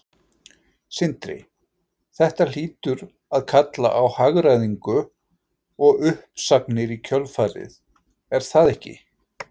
Sindri: Þetta hlýtur að kalla á hagræðingu og uppsagnir í kjölfarið, er það ekki?